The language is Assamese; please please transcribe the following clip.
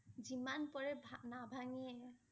যিমান পৰে ভা~নাভাঙেই